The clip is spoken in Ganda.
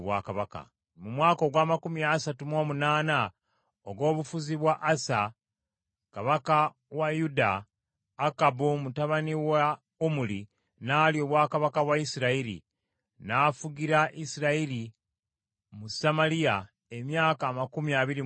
Mu mwaka ogw’amakumi asatu mu omunaana ogw’obufuzi bwa Asa Kabaka wa Yuda, Akabu mutabani wa Omuli n’alya obwakabaka bwa Isirayiri, n’afugira Isirayiri mu Samaliya emyaka amakumi abiri mu ebiri.